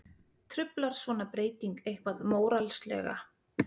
Truflar svona breyting eitthvað móralslega?